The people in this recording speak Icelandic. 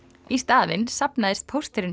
í staðinn safnaðist pósturinn